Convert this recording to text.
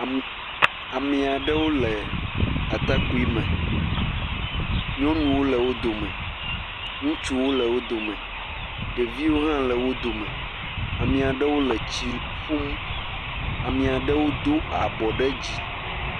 Am.. ami aɖewo le atakpui me, nyɔnuwo le wo dome, ŋutsuwo le wo dome, ɖeviwo hã le wo dome, ame aɖewo le tsi ƒum, ame aɖewo do abɔ ɖe dzi.